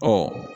Ɔ